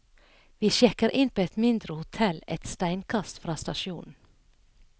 Vi sjekker inn på et mindre hotell et steinkast fra stasjonen.